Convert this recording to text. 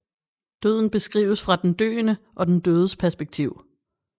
Døden beskrives fra den døende og den dødes perspektiv